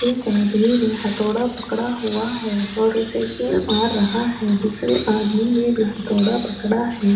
ایک آدمی نے ہتھودہ پکڑا ہوا ہے اور اسے کیل مار رہا ہے۔ دوسرے آدمی نے بھی ہتھودہ پکڑا ہے۔